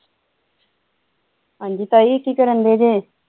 ਹਾਂਜੀ ਤਾਈ ਕੀ ਕਰਨ ਦੇ ਜੇ?